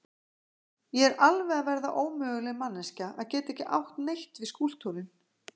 Ég er alveg að verða ómöguleg manneskja að geta ekki átt neitt við skúlptúrinn.